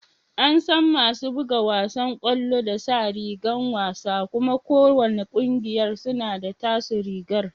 An san masu buga wasan kwallon da sa rigar wasa kuma ko wanna kungiyar suna da taso rigar.